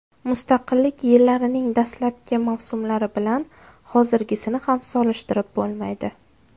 Mustaqillik yillarining dastlabki mavsumlari bilan hozirgisini ham solishtirib bo‘lmaydi.